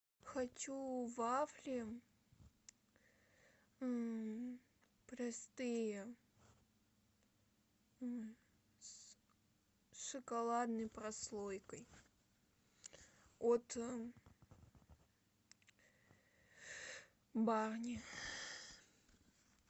хочу вафли простые с шоколадной прослойкой от барни